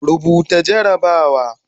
Rubuta jarrabawa